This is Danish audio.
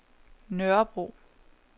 Nørrebro